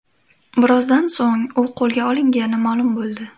Birozdan so‘ng u qo‘lga olingani ma’lum bo‘ldi .